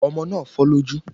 Ọmọ náà fọ́ lójú